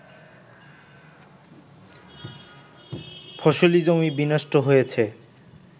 ফসলী জমি বিনষ্ট হয়েছে